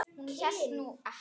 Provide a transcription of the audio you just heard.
Hún hélt nú ekki.